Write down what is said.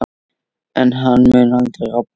En hann mun aldrei rofna.